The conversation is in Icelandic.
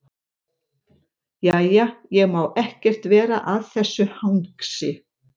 Jæja, ég má ekkert vera að þessu hangsi.